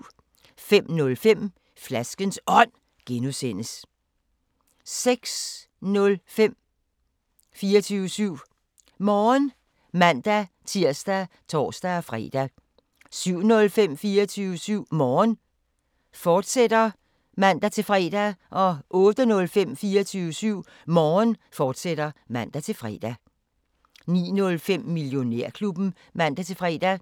05:05: Flaskens Ånd (G) 06:05: 24syv Morgen (man-tir og tor-fre) 07:05: 24syv Morgen, fortsat (man-fre) 08:05: 24syv Morgen, fortsat (man-fre) 09:05: Millionærklubben (man-fre)